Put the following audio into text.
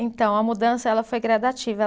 Então, a mudança ela foi gradativa.